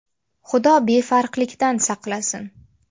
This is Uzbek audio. Xudo befarqlikdan saqlasin.